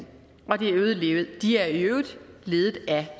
de er i øvrigt ledet af